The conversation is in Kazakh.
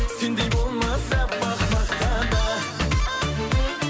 сендей болмас аппақ мақта да